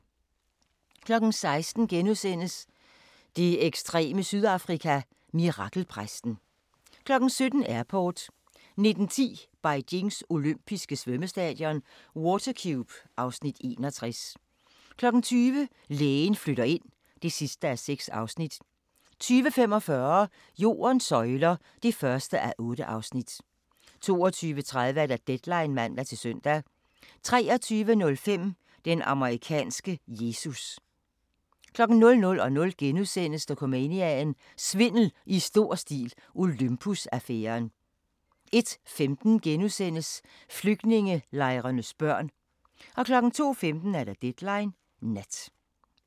16:00: Det ekstreme Sydafrika: Mirakelpræsten * 17:00: Airport 19:10: Beijings olympiske svømmestadion – Water Cube (Afs. 61) 20:00: Lægen flytter ind (6:6) 20:45: Jordens søjler (1:8) 22:30: Deadline (man-søn) 23:05: Den amerikanske Jesus 00:00: Dokumania: Svindel i stor stil – Olympus-affæren * 01:15: Flygtningelejrenes børn * 02:15: Deadline Nat